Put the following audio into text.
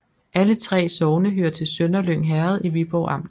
Alle 3 sogne hørte til Sønderlyng Herred i Viborg Amt